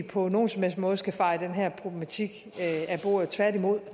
på nogen som helst måde skal feje den her problematik af bordet tværtimod